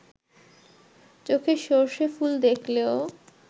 চোখে সর্ষে ফুল দেখলেও